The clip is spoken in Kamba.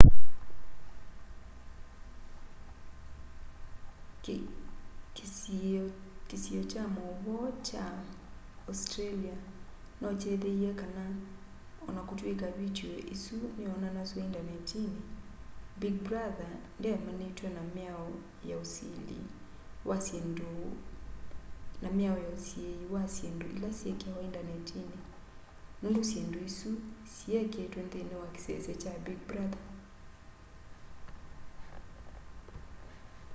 kĩsiio kya maũvoo kya australia nokyethĩie kana o na kũtw'ĩka vitiũ ĩsu nĩyonanasw'a indanetinĩ big brother ndyaemanĩtwe na mĩao ya usiĩi wa syĩndũ ila syĩkĩawa indanetinĩ nũndũ syĩndũ isu siyekĩĩtwe nthĩinĩ wa kĩsese kya big brother